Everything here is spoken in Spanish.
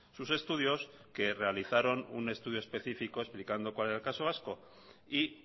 sus estudios que realizaron un estudio específico explicando cuál era el caso vasco y